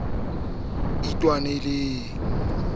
ka ho teneha tjhe le